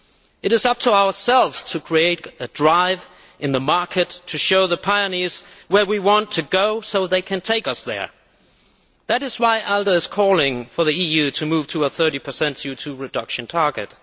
It is up to ourselves to create a drive in the market, to show the pioneers where we want to go so that they can take us there. That is why ALDE is calling for the EU to move to a 30 CO 2 reduction target.